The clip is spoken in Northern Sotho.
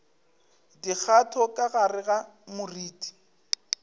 dikgato ka gare ga moriti